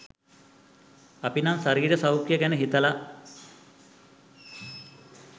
අපි නම් ශරීර සෞඛ්‍ය ගැන හිතල